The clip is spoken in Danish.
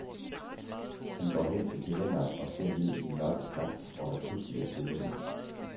Han går hen til gelænderet og ser ned i den mørke skakt, hvor der pludselig er stille.